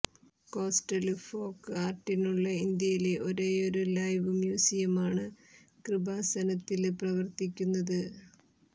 coastal folk ആര്ട്ടിനുള്ള ഇന്ത്യയിലെ ഒരേയൊരു ലൈവ് മ്യൂസിയമാണ് കൃപാസനത്തില് പ്രവര്ത്തിക്കുന്നത്